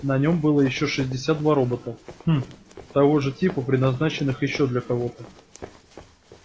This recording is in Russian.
на нем было ещё шестьдесят два робота хм того же типа предназначенных ещё для кого-то